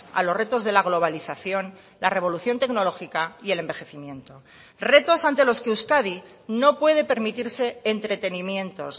a los retos de la globalización la revolución tecnológica y el envejecimiento retos ante los que euskadi no puede permitirse entretenimientos